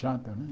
Chata, né?